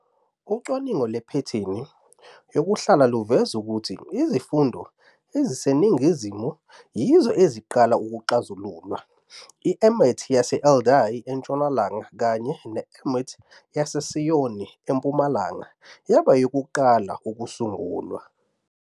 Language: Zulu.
Ucwaningo lwephethini yokuhlala luveza ukuthi izifunda eziseningizimu yizo "ezaqala" ukuxazululwa, i-emet yase-Aldai entshonalanga kanye ne- "emet" yaseSoyin empumalanga, yaba eyokuqala ukusungulwa.